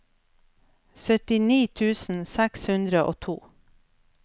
syttini tusen seks hundre og to